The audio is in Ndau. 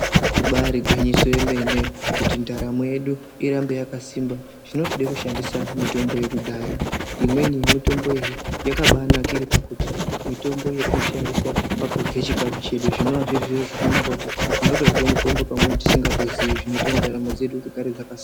Ibari gwinyiso yemene kuti ndaramo yedu irambe yakasimba zvinotode kushandisa mitombo yekudhaya imweni yemitombo iyi yakabanakire pakuti mitombo yatinoshandisa pakurye chikafu chedu zvinova zviri zviro zvakanaka kuti tinotorye mitombo pamweni tisingatoziii zvinoite kuti ndaramo dzedu dzigare dzaka..